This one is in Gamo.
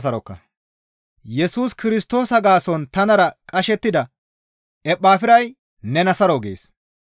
Yesus Kirstoosa gaason tanara qashettida Ephafiray nena saro gees.